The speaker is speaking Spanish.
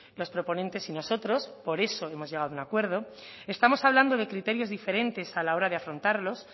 los proponentes y nosotros por eso hemos llegado a un acuerdo estamos hablando de criterios diferentes a la hora de afrontarlos